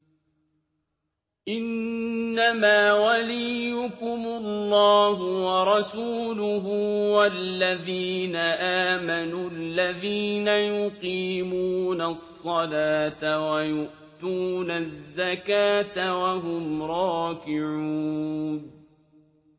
إِنَّمَا وَلِيُّكُمُ اللَّهُ وَرَسُولُهُ وَالَّذِينَ آمَنُوا الَّذِينَ يُقِيمُونَ الصَّلَاةَ وَيُؤْتُونَ الزَّكَاةَ وَهُمْ رَاكِعُونَ